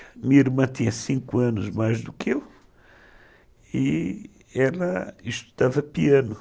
Minha irmã tinha cinco anos mais do que eu e ela estudava piano.